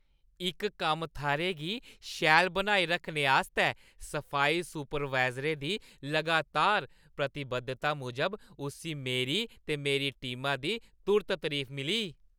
इक कम्म-थाह्‌रै गी शैल बनाई रक्खने आस्तै सफाई सुपरवाइज़रै दी लगातार प्रतिबद्धता मूजब उस्सी मेरी ते मेरी टीमा दी तुर्त तरीफ मिली।